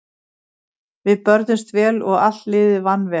Við börðumst vel og allt liðið vann vel.